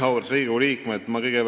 Auväärt Riigikogu liikmed!